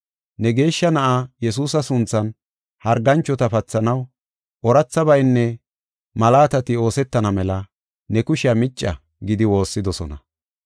Ne geeshsha na7aa Yesuusa sunthan harganchota pathanaw, oorathabaynne malaatati oosetana mela ne kushiya micca” gidi woossidosona.